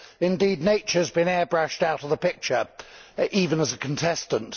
Indeed, nature has been airbrushed out of the picture, even as a contestant.